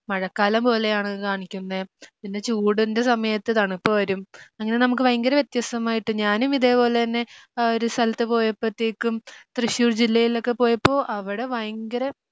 മഴക്കാലം പോലെയാണ് കാണിക്കുന്നേ പിന്നെ ചൂടിൻ്റെ സമയത്ത് തണുപ്പ് വരും അങ്ങനെ നമുക്ക് ഭയങ്കര വ്യക്തമായിട്ട് ഞാനും ഇതേപോലെ തന്നെ ഒരു സ്ഥലത്ത് പോയപ്പത്തേക്കും തൃശ്ശൂർ ജില്ലയിലൊക്കെ പോയപ്പോ അവടെ ഭയങ്കര